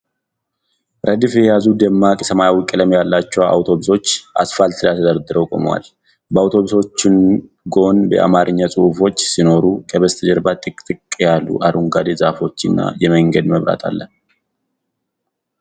ረድፍ የያዙ ደማቅ ሰማያዊ ቀለም ያላቸው አውቶቡሶች አስፋልት ላይ ተደርድረው ቆመዋል። በአውቶቡሶቹ ጎን የአማርኛ ጽሑፎች ሲኖሩ፣ ከበስተጀርባ ጥቅጥቅ ያሉ አረንጓዴ ዛፎችና የመንገድ መብራት አለ።